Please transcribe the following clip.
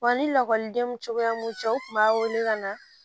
Wa ni lakɔlidenw cogoya mun cɛ u tun b'a wele ka na